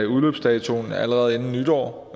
udløbsdato allerede inden nytår